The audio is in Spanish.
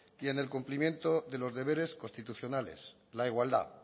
y en el cumplimiento de los deberes constitucionales la igualdad